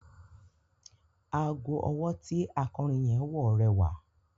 Ago ọwọ́ tí akọrin yẹn wọ rẹwà.